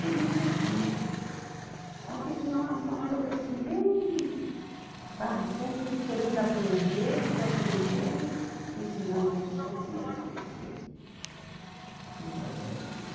Tudo isso eu fiz, mas fiz uma, uma coisa assim bem, sabe, sempre querendo aprender e estou aprendendo, ensinando para os outros como é que tem que ser, como é que tem que fazer as coisa.